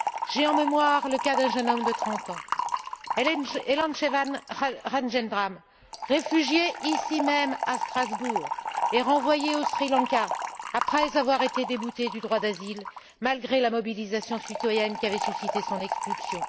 J'ai en mémoire le cas d'un jeune homme de trente ans, Elanchelvan Rajendram, réfugié ici même à Strasbourg et renvoyé au Sri Lanka après avoir été débouté du droit d'asile malgré la mobilisation citoyenne qu'avait suscitée son expulsion.